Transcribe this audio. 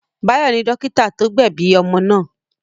Báyọ̀ ni dọ́kítá tó gbẹ̀bi omo náà.